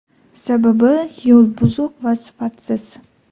Sababi yo‘l buzuq va sifatsiz.